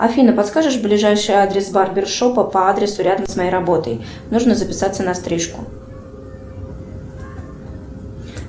афина подскажешь ближайший адрес барбершопа по адресу рядом с моей работой нужно записаться на стрижку